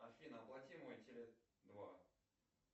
афина оплати мой теле два